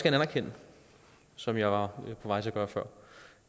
anerkende som jeg var på vej til at gøre før